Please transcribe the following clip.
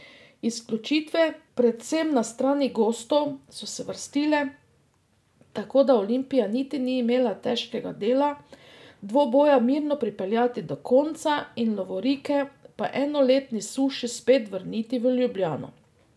Izključitve, predvsem na strani gostov, so se vrstile, tako da Olimpija niti ni imela težkega dela dvoboja mirno pripeljati do konca in lovorike po enoletni suši spet vrniti v Ljubljano.